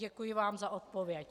Děkuji vám za odpověď.